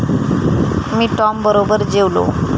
मी टॉमबरोबर जेवलो.